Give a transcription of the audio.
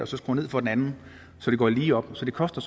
så skrue ned for den anden så det går lige op så det koster